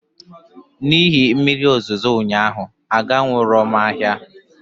N'ihi mmiri ozuzo ụnyaahụ aganwuro m ahịa